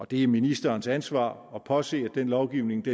det er ministerens ansvar at påse at den lovgivning